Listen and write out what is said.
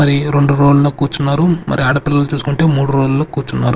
మరి రెండు రో ల్లో కూర్చున్నారు మరి ఆడపిల్లలు చూసుకుంటే మూడు రో ల్లో కూర్చున్నారు.